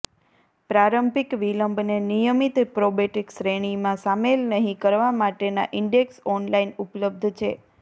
પ્રારંભિક વિલંબને નિયમિત પ્રોબેટ શ્રેણીમાં શામેલ નહીં કરવા માટેના ઇન્ડેક્સ ઓનલાઇન ઉપલબ્ધ છે